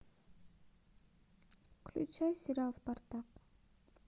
включай сериал спартак